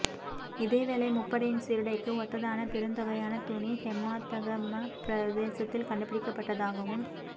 இதேவேளை முப்படையின் சீருடைக்கு ஒத்ததான பெருந்தொகையான துணி ஹெம்மாத்தகம பிரதேசத்தில் கண்டுபிடிக்கப்பட்டதாகவும்